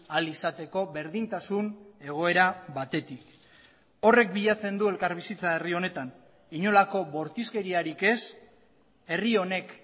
ahal izateko berdintasun egoera batetik horrek bilatzen du elkarbizitza herri honetan inolako bortizkeriarik ez herri honek